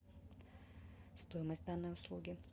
стоимость данной услуги